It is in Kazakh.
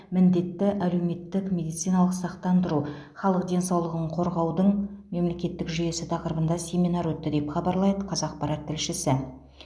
міндетті әлеуметтік медициналық сақтандыру халық денсаулығын қорғаудың мемлекеттік жүйесі тақырыбында семинар өтті деп хабарлайды қазақпарат тілшісі